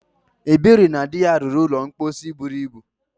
Ebere na di ya rụrụ ụlọ mposi buru ibu.